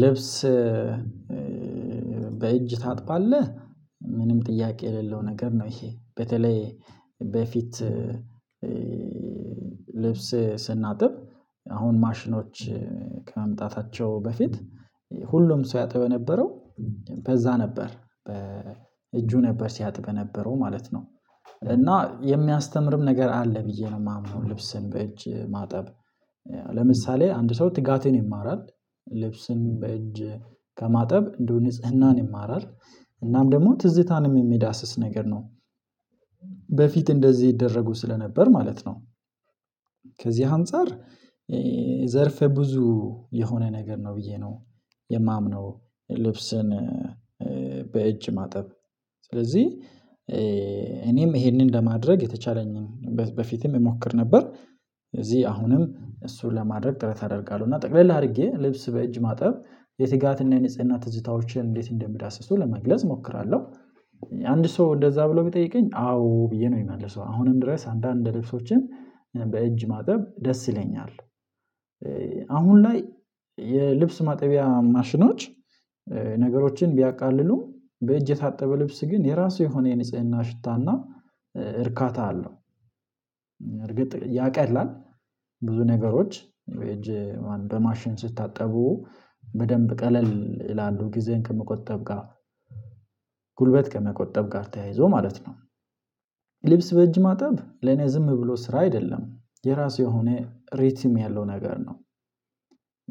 ልብስ በእጅ ታጥባለህ? ምንም ጥያቄ የሌለው ነገር ነው ይሄ በተለይ በፊት። ልብስ ስናጥብ አሁን ማሽኖች ከመምጣታቸው በፊት ሁሉም ሰው ያጥብ የነበረው በዛ ነበር በእጁ ነበር ሲያጥበ የነበረው ማለት ነው። እና የሚያስተምርም ነገር አለ ብዬ ነው የማምነው ልብስን በእጅ ማጠብ። ለምሳሌ አንድ ሰው ትጋትን ይማራል ልብስን በእጅ ከማጠብ እንደው ንጽህናን ይማራል እናም ደግሞ ትዝታንም የሚዳስስ ነገር ነው። በፊት እንደዚህ ይደረጉ ስለነበር ማለት ነው። ከዚህ አንፃር ዘርፈ ብዙ የሆነ ነገር ነው ብዬ ነው የማምነው ልብስን በእጅ ማጠብ። ስለዚህ እኔም ይሄንን ለማድረግ የተቻለኝን በፊትም እሞክር ነበር። እዚህ አሁንም እሱን ለማድረግ ጥረት አደርጋለሁ እና ጠቅለላ አድርጌ ልብስ በእጅ ማጠብ የትጋትና የንጽህና ትዝታዎችን እንዴት እንደሚዳስሱ ለመግለጽ እሞክራለሁ። አንድ ሰው እንደዛ ብሎ ቢጠይቀኝ አዎ ብዬ ነው የምመልሰው አሁንም ድረስ አንዳንድ ልብሶችን በእጅ ማጠብ ደስ ይለኛል። አሁን ላይ የልብስ ማጠቢያ ማሽኖች ነገሮችን ቢያቃልሉም በእጅ የታጠበ ልብስ ግን የራሱ የሆነ የንጽህና ሽታና እርካታ አለው። እርግጥ ያቀላል ብዙ ነገሮች እጅ በማሽን ሲታጠቡ በደንብ ቀለል ይላሉ ጊዜን ከመቆጠብ ጋር ጉልበት ከመቆጠብ ጋር ተያይዞ ማለት ነው። ልብስ በእጅ ማጠብ ለኔ ዝም ብሎ ስራ አይደለም የራሱ የሆነ ሪትም ያለው ነገር ነው።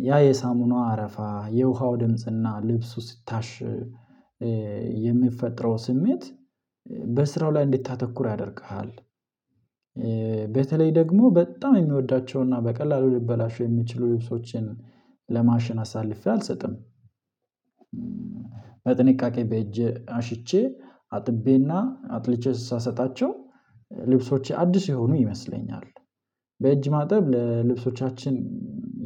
ያ የሳሙናው አረፋ የውሃው ድምጽና ልብሱ ሲታሽ የሚፈጥረው ስሜት በስራው ላይ እንድታተኩር ያደርግሃል። በተለይ ደግሞ በጣም የምወዳቸውና በቀላሉ ልበላሸው የሚችሉ ልብሶችን ለማሽን አሳልፌ አልሰጥም። በጥንቃቄ በእጄ አሽቼ አጥቤና አጥልቼ ሳሰጣቸው ልብሶቼ አዲስ የሆኑ ይመስለኛል በእጅ ማጠብ ለልብሶቻችን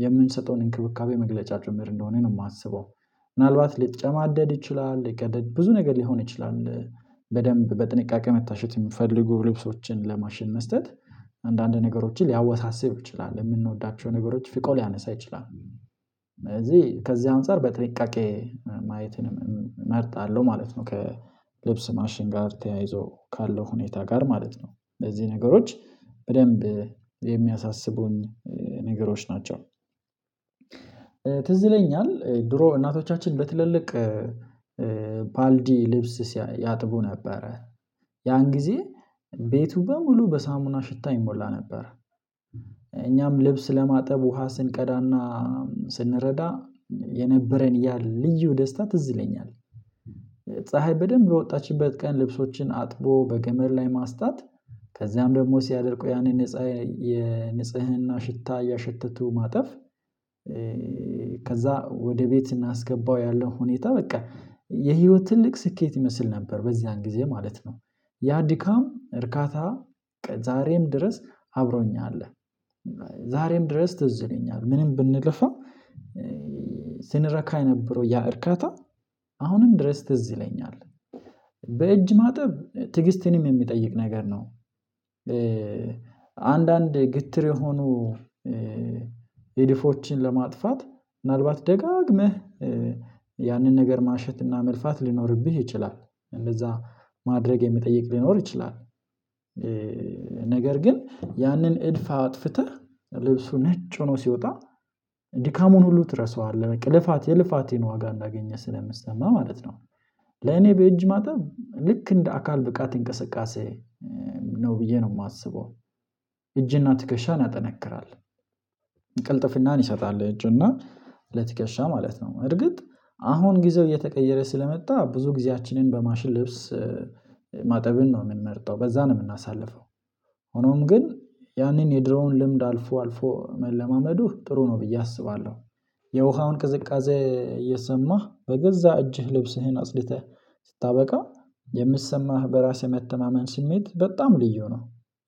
የምንሰጠውን እንክብካቤ መግለጫ ጭምር እንደሆነ ነው የማስበው። ምናልባት ሊጨማደድ ይችላል ሊቀደድ ብዙ ነገር ሊሆን ይችላል በደንብ በጥንቃቄ መታሸት የምትፈልጉ ልብሶችን ለማሽን መስጠት አንዳንድ ነገሮችን ሊያወሳስብ ይችላል የምንወዳቸው ነገሮች ፍቆ ሊያነሳ ይችላል ስለዚህ ከዚህ አንፃር በጥንቃቄ ማየት እመርጣለሁ ማለት ነው። ከልብስ ማሽን ጋር ተያይዞ ካለው ሁኔታ ጋር ማለት ነው በዚህ ነገሮች በደንብ የሚያሳስቡን ነገሮች ናቸው። ትዝ ይለኛል ድሮ እናቶቻችን በትልልቅ ባልዲ ልብስ ያጥቡ ነበረ ያን ጊዜ ቤቱ በሙሉ በሳሙና ሽታ ይሞላ ነበር። እኛም ልብስ ለማጠብ ውሃ ስንቀዳና ስንረዳ የነበረን ያ ልዩ ደስታ ትዝ ይለኛል። ፀሀይ በደንብ የወጣችበት ቀን ልብሶችን አጥቦ በገመድ ላይ ማስጣት ከዚያም ደግሞ ሲያደርቁ ያኔ ንጽህ የንጽህና ሽታ እያሸተቱ ማጠፍ። ከዛ ወደ ቤት እናስገባው ያለው ሁኔታ በቃ የህይወት ትልቅ ስኬት ይመስል ነበር በዚያን ጊዜ ማለት ነው። ያ ድካም እርካታ ዛሬም ድረስ አብሮኝ አለ። ዛሬም ድረስ ትዝ ይለኛል ምንም ብንለፋ ስንረካ የነበረው ያ እርካታ አሁንም ድረስ ትዝ ይለኛል። በእጅ ማጠብ ትዕግስትንም የሚጠይቅ ነገር ነው። አንዳንድ ግትር የሆኑ እድፎችን ለማጥፋት ምናልባት ደጋግመህ ያንን ነገር ማሸትና መልፋት ሊኖርብህ ይችላል እንደዛ ማድረግ የሚጠይቅ ሊኖር ይችላል። ነገር ግን ያንን እድፍ አጥፍተህ ልብሱ ነጭ ሆኖ ሲወጣ ድካሙን ሁሉ ትረሳዋለህ ልፋት የልፋቴን ዋጋ እንዳገኘህ ስለሚሰማህ ማለት ነው። ለኔ በእጅ ማታ ልክ እንደ አካል ብቃት እንቅስቃሴ ነው ብዬ ነው የማስበው። እጅና ትከሻ ያጠነክራል ቅልጥፍናን ይሰጣል ለእጅና ለትከሻ ማለት ነው እርግጥ አሁን ጊዜው እየተቀየረ ስለመጣ ብዙ ጊዜያችንን በማሽን ልብስ ማጠብን ነው የምንመርጠው በዛ ነው የምናሳልፈው። ሆኖም ግን ያንን የድሮውን ልምድ አልፎ አልፎ መለማመዱ ጥሩ ነው ብዬ አስባለሁ። የውሃውን ቅዝቃዜ እየሰማህ በገዛ እጅህ ልብስህን አጽድተህ ስታበቃ የሚሰማህ በራስ የመተማመን ስሜት በጣም ልዩ ነው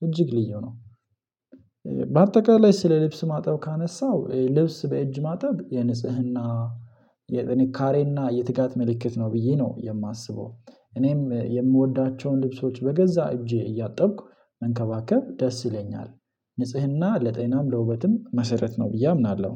እጅግ ልዩ ነው። በአጠቃላይ ስለ ልብስ ማጠብ ካነሳሁ ልብስ በእጅ ማጠብ የንጽህና የጥንካሬና የትጋት ምልክት ነው ብዬ ነው የማስበው። እኔም የምወዳቸውን ልብሶች በገዛ እጄ እያጠብኩ መንከባከብ ደስ ይለኛል። ንጽህና ለጤናም ለውበትም መሰረት ነው ብዬ አምናለሁ